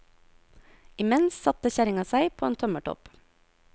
Imens satte kjerringa seg på en tømmertopp.